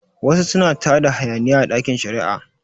Wasu suna tada hayaniya a ɗakin shari'a